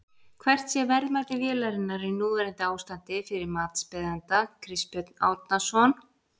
Hvert sé verðmæti vélarinnar í núverandi ástandi fyrir matsbeiðanda Kristbjörn Árnason?